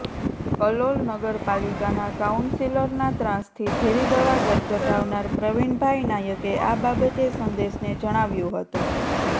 કલોલ નગરપાલિકાના કાઉન્સીલરના ત્રાસથી ઝેરી દવા ગટગટાવનાર પ્રવિણભાઈ નાયકે આ બાબતે સંદેશને જણાવ્યુ હતું